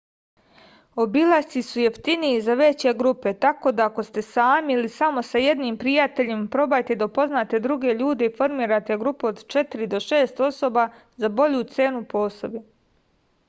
obilasci su jeftiniji za veće grupe tako da ako ste sami ili samo sa jednim prijateljem probajte da upoznate druge ljude i formirate grupu od četiri do šest osoba za bolju cenu po osobi